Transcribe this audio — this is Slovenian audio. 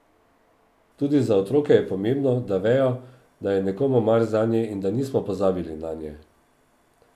Tudi za otroke je pomembno, da vejo, da je nekomu mar zanje in da nismo pozabili nanje.